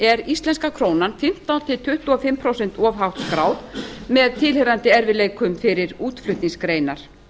er íslenska krónan fimmtán til tuttugu og fimm prósentum of hátt skráð með tilheyrandi erfiðleikum fyrir útflutningsgreinar